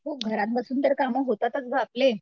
हो घरात बसून तर कामं होतातच गं आपले.